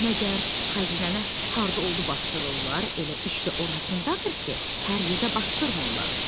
Məgər xəzinəni harda oldu basdırırlar, elə iş də orasındadır ki, hər yerdə basdırmırlar.